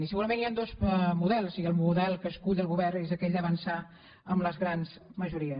i segurament hi han dos models i el model que escull el govern és aquell d’avançar amb les grans majories